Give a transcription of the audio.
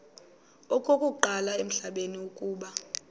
okokuqala emhlabeni uba